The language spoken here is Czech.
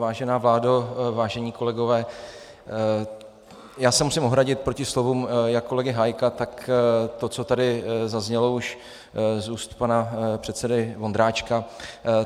Vážená vládo, vážení kolegové, já se musím ohradit proti slovům jak kolegy Hájka, tak to, co tady zaznělo už z úst pana předsedy Vondráčka.